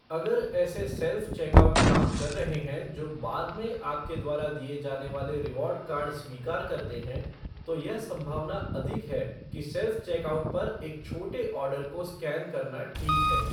अगर ऐसे self checkout काम कर रहे हैं जो बाद में आपके द्वारा दिए जाने वाले रीवार्ड कार्ड स्वीकार करते हैं, तो यह संभावना अधिक है कि सेल्फ़ चेकआउट पर एक छोटे ऑर्डर को स्कैन करना ठीक है।